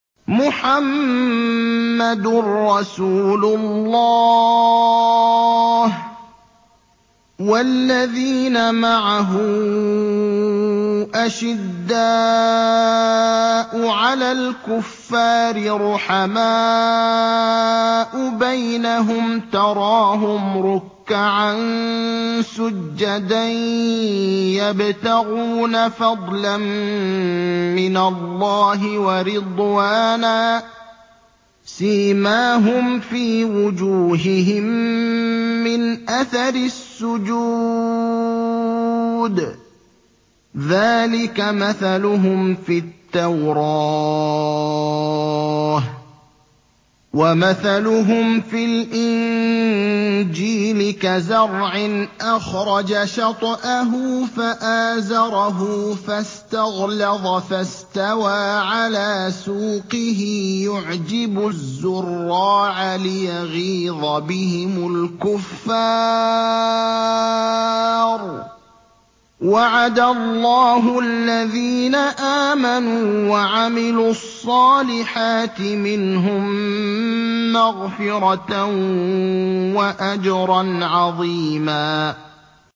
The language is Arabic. مُّحَمَّدٌ رَّسُولُ اللَّهِ ۚ وَالَّذِينَ مَعَهُ أَشِدَّاءُ عَلَى الْكُفَّارِ رُحَمَاءُ بَيْنَهُمْ ۖ تَرَاهُمْ رُكَّعًا سُجَّدًا يَبْتَغُونَ فَضْلًا مِّنَ اللَّهِ وَرِضْوَانًا ۖ سِيمَاهُمْ فِي وُجُوهِهِم مِّنْ أَثَرِ السُّجُودِ ۚ ذَٰلِكَ مَثَلُهُمْ فِي التَّوْرَاةِ ۚ وَمَثَلُهُمْ فِي الْإِنجِيلِ كَزَرْعٍ أَخْرَجَ شَطْأَهُ فَآزَرَهُ فَاسْتَغْلَظَ فَاسْتَوَىٰ عَلَىٰ سُوقِهِ يُعْجِبُ الزُّرَّاعَ لِيَغِيظَ بِهِمُ الْكُفَّارَ ۗ وَعَدَ اللَّهُ الَّذِينَ آمَنُوا وَعَمِلُوا الصَّالِحَاتِ مِنْهُم مَّغْفِرَةً وَأَجْرًا عَظِيمًا